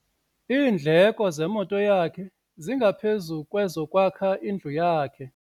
Iindleko zemoto yakhe zingaphezu kwezokwakha indlu yakhe.